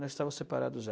Nós estávamos separados já.